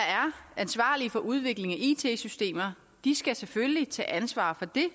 ansvarlige for udviklingen af it systemer skal selvfølgelig tage ansvar for det